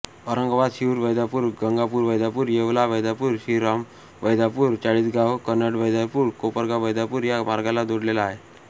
औरंगाबाद शिऊर वैजापूर गंगापूरवैजापूर येवला वैजापूर श्रीरामपूरवैजापूर चाळीसगाव कन्नडवैजापूर कोपरगाववैजापूर या मार्गाला जोडलेले आहे